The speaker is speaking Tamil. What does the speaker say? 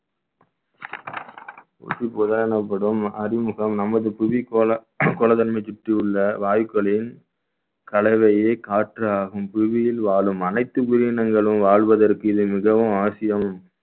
ஊசி போதல் எனப்படும் அறிமுகம் நமது புவி கோலா~ வாயுக்கோலின் கலவையே காற்றாகும் பூமியில் வாழும் அனைத்து உயிரினங்களும் வாழ்வதற்கு இது மிகவும் அவசியம்